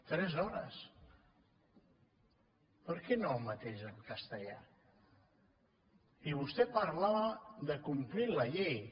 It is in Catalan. tres hores per què no el mateix de castellà i vostè parlava de complir la llei